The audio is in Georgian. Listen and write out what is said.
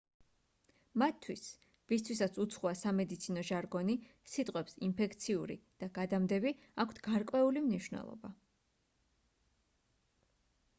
მათთვის ვისთვისაც უცხოა სამედიცინო ჟარგონი სიტყვებს ინფექციური და გადამდები აქვთ გარკვეული მნიშვნელობა